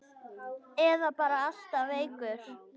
Eða bara alltaf veikur.